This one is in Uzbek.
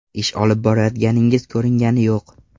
Ish olib borayotganingiz ko‘ringani yo‘q.